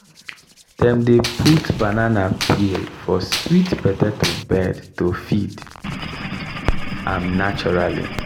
dem dey put banana peel for sweet potato bed to feed am naturally.